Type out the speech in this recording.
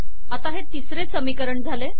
आता हे तिसरे समीकरण झाले